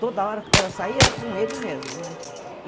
Toda hora, era sair, era com ele mesmo, né?